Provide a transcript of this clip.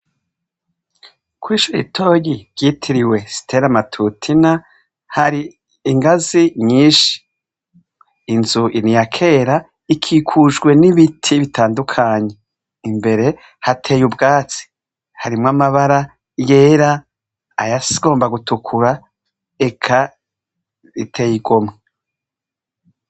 Koishuritoyi ryitiriwe sitela amatutina hari ingazi nyinshi inzu iniya kera ikikujwe n'ibiti bitandukanye imbere hateye ubwatsi harimwo amabara yera ayasomba gutukura eka iteyigomwe.